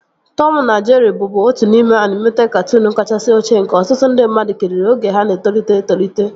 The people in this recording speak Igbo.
Tọmu na Jerịị bụbu otu n'ime anịmeted katụụnu kachasị ochie nke ọtụtụ ndị mmadụ kiriri oge ha na-etolite etolite